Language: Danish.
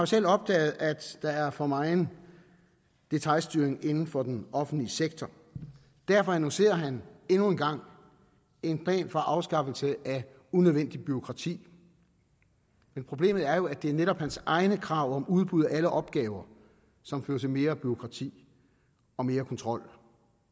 selv opdaget at der er for megen detailstyring inden for den offentlige sektor derfor annoncerer han endnu en gang en plan for afskaffelse af unødvendigt bureaukrati men problemet er jo at det netop er hans egne krav om udbud af alle opgaver som fører til mere bureaukrati og mere kontrol